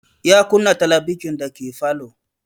Ya kunna talabijin dake falo